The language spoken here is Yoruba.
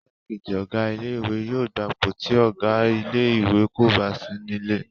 Igbákejì Ọ̀gá ilé ìwé yóò gbapò tí Ọ̀gá ilé ìwé kò bá sí nílé